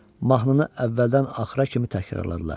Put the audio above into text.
Mahnını əvvəldən axıra kimi təkrarladılar.